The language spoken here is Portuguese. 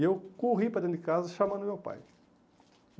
E eu corri para dentro de casa chamando o meu pai.